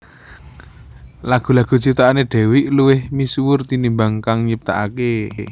Lagu lagu ciptaané Dewiq luwih misuwur tinimbang kang nyiptakaké